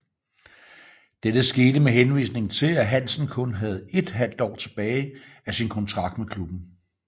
Dette skete med henvisning til at Hansen kun havde ét halvt år tilbage af sin kontrakt med klubben